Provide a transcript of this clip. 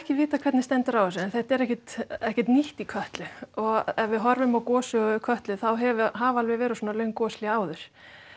ekki vitað hvernig stendur á þessu en þetta er ekkert ekkert nýtt í Kötlu og ef við horfum á gossögu Kötlu þá hafa alveg verið svona löng goshlé áður